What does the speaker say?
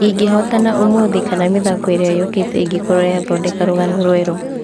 Ingĩhootana ũmũthĩ kana mĩthako iria yũkĩĩte ĩngũkorwo yathondeka rũgano rũerũ.